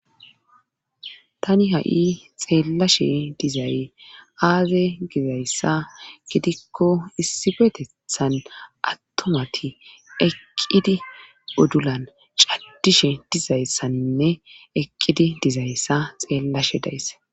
tani ha7i xeellashe dizay aaze gizayssa gidikko issifetetthan attumati eqqidi uddulan caddishe dizayssaninne eqqidi dizayssa xeellashe daysse